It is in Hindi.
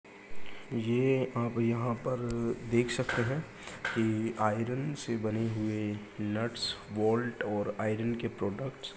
ये आप यहाॅं पर देख सकते हैं कि आयरन से बने हुए नट्स बोल्ट और आयरन के प्रोडक्ट्स --